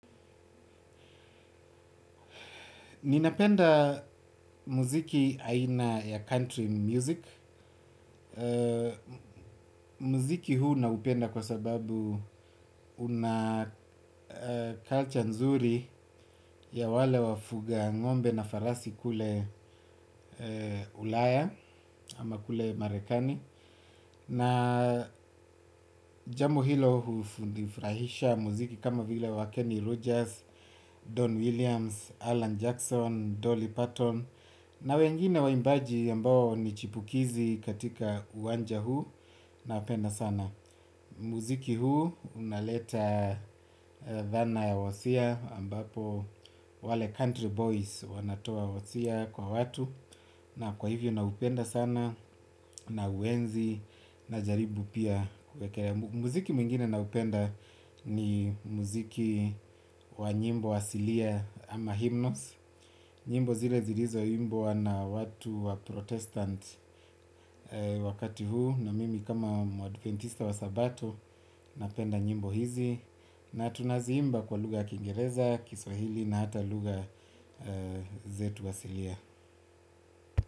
Ninapenda muziki aina ya country music. Muziki huu naupenda kwa sababu una culture nzuri ya wale wafuga ng'ombe na farasi kule ulaya ama kule marekani. Na jambo hilo hunifurahisha muziki kama vile wa Kenny Rogers, Don Williams, Alan Jackson, Dolly Patton. Na wengine waimbaji ambao ni chipukizi katika uwanja huu napenda sana. Muziki huu unaleta dhana ya wosia ambapo wale country boys wanatoa wosia kwa watu na kwa hivyo naupenda sana nauenzi na jaribu pia kwekere. Muziki mwingine naupenda ni muziki wa nyimbo asilia ama hymnos. Nyimbo zile zilizo imbwa na watu wa protestant wakati huu na mimi kama adventista wa sabato napenda nyimbo hizi na tunaziimba kwa lugha ya kingereza, kiswahili na hata lugha zetu asilia.